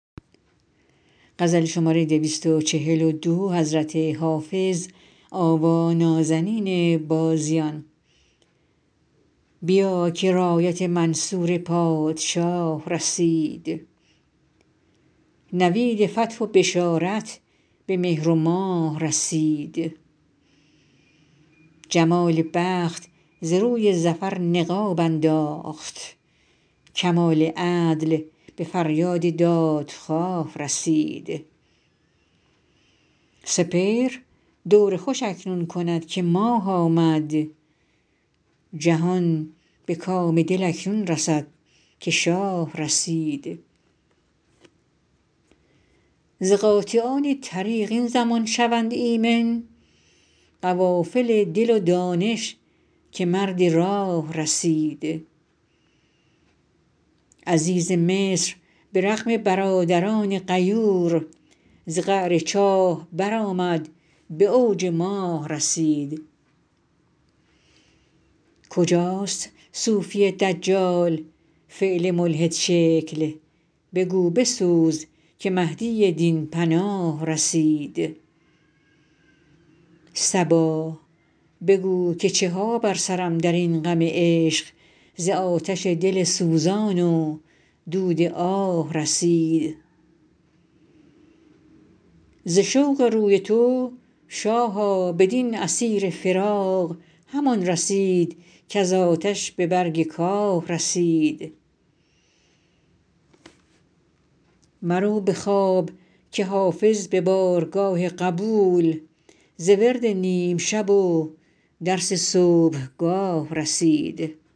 بیا که رایت منصور پادشاه رسید نوید فتح و بشارت به مهر و ماه رسید جمال بخت ز روی ظفر نقاب انداخت کمال عدل به فریاد دادخواه رسید سپهر دور خوش اکنون کند که ماه آمد جهان به کام دل اکنون رسد که شاه رسید ز قاطعان طریق این زمان شوند ایمن قوافل دل و دانش که مرد راه رسید عزیز مصر به رغم برادران غیور ز قعر چاه برآمد به اوج ماه رسید کجاست صوفی دجال فعل ملحدشکل بگو بسوز که مهدی دین پناه رسید صبا بگو که چه ها بر سرم در این غم عشق ز آتش دل سوزان و دود آه رسید ز شوق روی تو شاها بدین اسیر فراق همان رسید کز آتش به برگ کاه رسید مرو به خواب که حافظ به بارگاه قبول ز ورد نیم شب و درس صبحگاه رسید